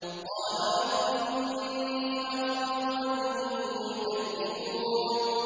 قَالَ رَبِّ إِنِّي أَخَافُ أَن يُكَذِّبُونِ